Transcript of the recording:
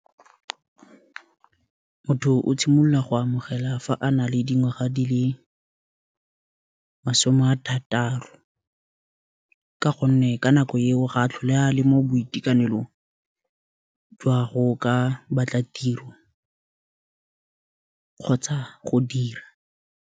Motho o tshimolola go amogela fa a na le dingwaga di le masome a thataro ka go nne ka nako eo ga a tlhole a le mo boitekanelong jwa go ka batla tiro kgotsa go dira.